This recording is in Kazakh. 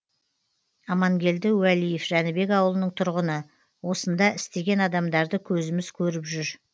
амангелді уәлиев жәнібек ауылының тұрғыны осында істеген адамдарды көзіміз көріп жүр